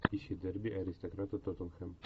ищи дерби аристократы тоттенхэм